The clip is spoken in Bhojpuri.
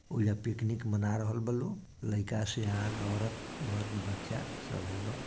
ओइजा पिकनिक मना रहल बा लोग लईका सियान औरत मर्द बच्चा सबे बा।